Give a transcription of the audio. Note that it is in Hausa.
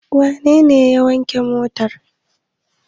Wane ne ya wanke motar?